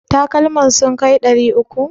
Takalman sun kai ɗari uku?